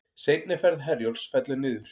Seinni ferð Herjólfs fellur niður